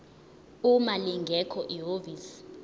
uma lingekho ihhovisi